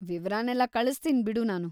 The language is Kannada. ವಿವರನೆಲ್ಲ ಕಳಿಸ್ತೀನ್‌ ಬಿಡು ನಾನು.